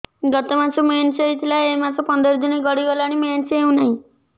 ଗତ ମାସ ମେନ୍ସ ହେଇଥିଲା ଏ ମାସ ପନ୍ଦର ଦିନ ଗଡିଗଲାଣି ମେନ୍ସ ହେଉନାହିଁ